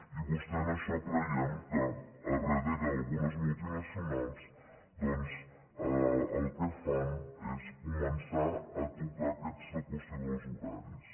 i vostès en això creiem que a darrere d’algunes multinacionals doncs el que fan és començar a tocar aquesta qüestió dels horaris